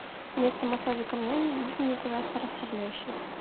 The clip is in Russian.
вместо массажа камнями можно мне пожалуйста расслабляющий